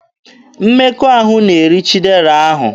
Mmekọahụ na-eri Chidera ahụ.